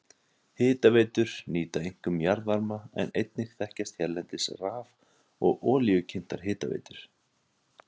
Hitaveitur nýta einkum jarðvarma en einnig þekkjast hérlendis raf- og olíukyntar hitaveitur.